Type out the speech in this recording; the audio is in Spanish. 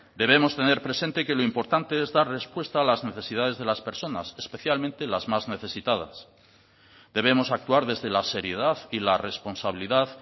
debemos tener presente que lo importante es dar respuesta a las necesidades de las personas especialmente las más necesitadas debemos actuar desde la seriedad y la responsabilidad